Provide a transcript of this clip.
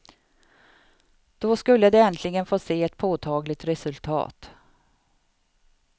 Då skulle de äntligen få se ett påtagligt resultat.